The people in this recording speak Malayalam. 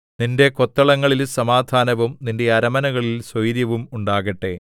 നിന്റെ കൊത്തളങ്ങളിൽ സമാധാനവും നിന്റെ അരമനകളിൽ സ്വൈരവും ഉണ്ടാകട്ടെ